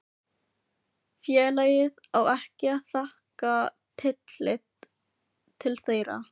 félagið á ekki að taka tillit til þeirra.